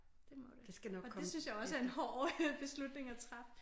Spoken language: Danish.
Det må det og det synes jeg også er en hård beslutning at træffe